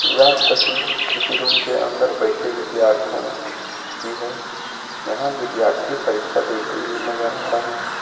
यह तस्वीर किसी रूम के अंदर बैठे विद्यार्थो की है यहां विद्यार्थी परीक्षा देते हुए नजर आ रहे हैं।